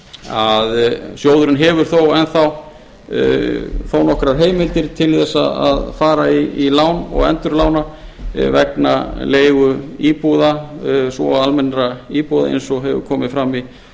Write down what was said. að sjóðurinn hefur þó enn þá þó nokkrar heimild til að fara í lán og endurlána vegna leiguíbúða svo og leiguíbúða svo og almennra íbúða eins og hefur komið fram í